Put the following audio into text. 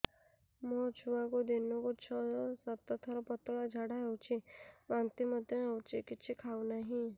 ମୋ ଛୁଆକୁ ଦିନକୁ ଛ ସାତ ଥର ପତଳା ଝାଡ଼ା ହେଉଛି ବାନ୍ତି ମଧ୍ୟ ହେଉଛି କିଛି ଖାଉ ନାହିଁ